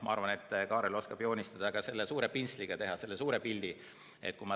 Ma arvan, et Kaarel oskab ka suure pintsliga teha selle suure pildi.